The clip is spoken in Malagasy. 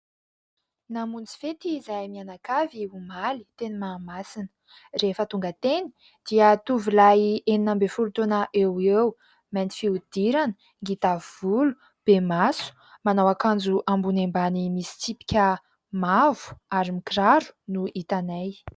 Namonjy fety izahay mianakavy omaly teny Mahamasina. Rehefa tonga teny dia tovolahy enina ambin'ny folo taona eoeo : mainty fihodirana, ngita volo, be maso, manao akanjo ambony ambany misy tsipika mavo, ary mikiraro no hitanay.